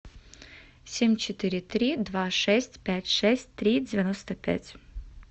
семь четыре три два шесть пять шесть три девяносто пять